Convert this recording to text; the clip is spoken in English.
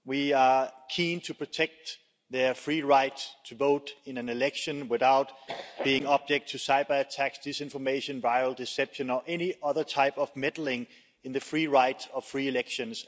We are keen to protect their free right to vote in an election without being subject to cyber attacks, disinformation, vile deception or any other type of meddling in the free right of free elections.